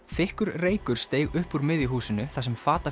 þykkur reykur steig upp úr miðju húsinu þar sem